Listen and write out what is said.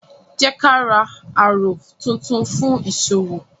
Jẹ ka ra àrò tún tún fun fún ìṣòwò